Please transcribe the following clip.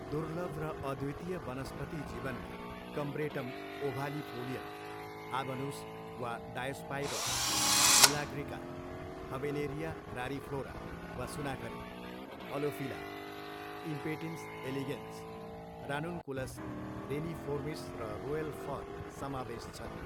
दुर्लभ र अद्वितीय वनस्पति जीवनमा कम्ब्रेटम ओभालिफोलियम, आबनुस वा डायोस्पाइरोस निलाग्रिका, हबेनेरिया रारिफ्लोरा वा सुनाखरी, अलोफिला, इम्पेटिन्स एलिगेन्स, रानुन्कुलस रेनिफोर्मिस र रोयल फर्न समावेश छन्।